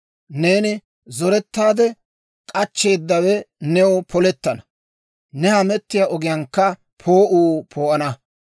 Neeni zorettaade k'achcheeddawe new polettana; ne hamettiyaa ogiyaankka poo'uu poo'ana.